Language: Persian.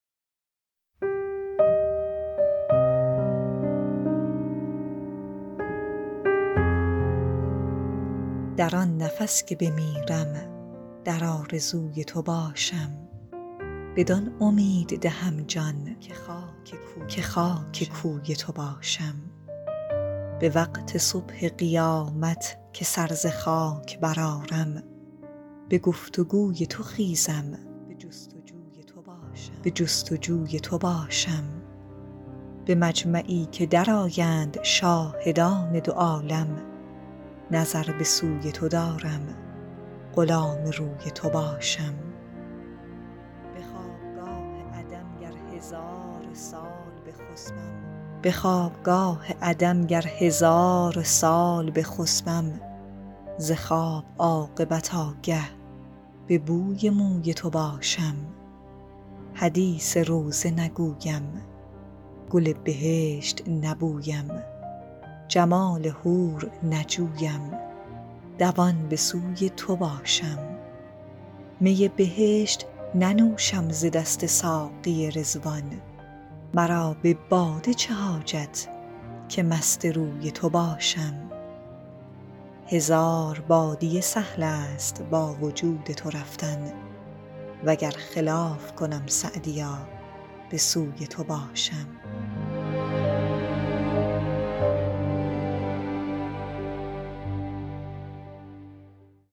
در آن نفس که بمیرم در آرزوی تو باشم بدان امید دهم جان که خاک کوی تو باشم به وقت صبح قیامت که سر ز خاک برآرم به گفت و گوی تو خیزم به جست و جوی تو باشم به مجمعی که درآیند شاهدان دو عالم نظر به سوی تو دارم غلام روی تو باشم به خوابگاه عدم گر هزار سال بخسبم ز خواب عاقبت آگه به بوی موی تو باشم حدیث روضه نگویم گل بهشت نبویم جمال حور نجویم دوان به سوی تو باشم می بهشت ننوشم ز دست ساقی رضوان مرا به باده چه حاجت که مست روی تو باشم هزار بادیه سهل است با وجود تو رفتن و گر خلاف کنم سعدیا به سوی تو باشم